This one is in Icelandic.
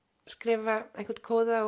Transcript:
skrifa einhvern kóða